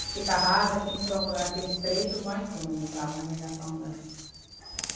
Fica rasa e tem que procurar aqueles trechos mais fundos para navegação andar.